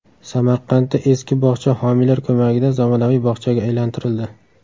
Samarqandda eski bog‘cha homiylar ko‘magida zamonaviy bog‘chaga aylantirildi.